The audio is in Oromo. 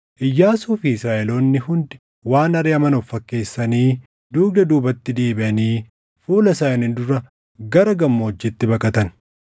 Iyyaasuu fi Israaʼeloonni hundi waan ariʼaman of fakkeessanii dugda duubatti deebiʼanii fuula isaanii dura gara gammoojjiitti baqatan.